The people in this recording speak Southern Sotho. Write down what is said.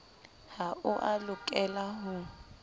ha o a lokela ho